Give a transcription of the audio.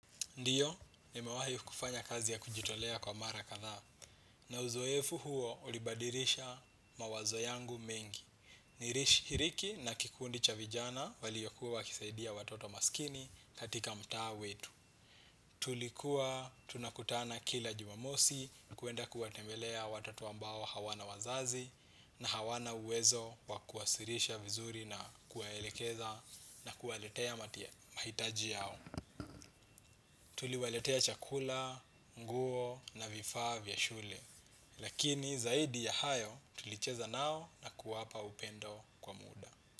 Ndio, nimewahi kufanya kazi ya kujitolea kwa mara kadhaa. Na uzoefu huo ulibadirisha mawazo yangu mengi. Nilishiriki na kikundi cha vijana waliokuwa wakisaidia watoto maskini katika mtaa wetu. Tulikuwa tunakutana kila jumamosi kwenda kuwatembelea watoto ambao hawana wazazi na hawana uwezo wakuwasirisha vizuri na kuwaelekeza na kuwaletea mahitaji yao. Tuliwaletea chakula, nguo na vifaa vya shule. Lakini zaidi ya hayo tulicheza nao na kuwapa upendo kwa muda.